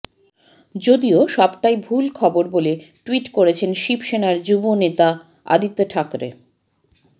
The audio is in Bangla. যদিও সবটাই ভুল খবর বলে টুইট করেছেন শিব সেনার যুব নেতা আদিত্য ঠাকরে